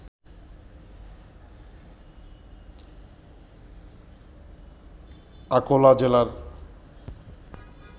আকোলা জেলার